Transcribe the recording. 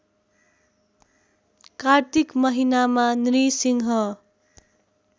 कार्तिक महिनामा नृसिंह